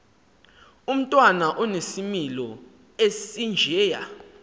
umntwana onesimilo esinjeya